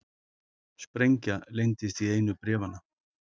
Sprengja leyndist í einu bréfanna